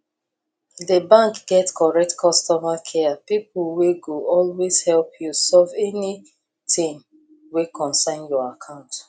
the bank get correct customer care people wey go always help you solve anything wey concern your account